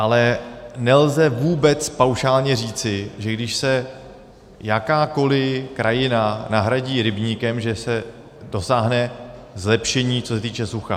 Ale nelze vůbec paušálně říci, že když se jakákoliv krajina nahradí rybníkem, že se dosáhne zlepšení, co se týče sucha.